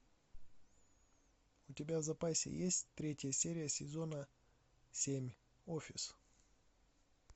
у тебя в запасе есть третья серия сезона семь офис